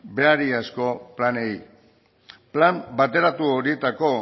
berariazko planei plan bateratu horietako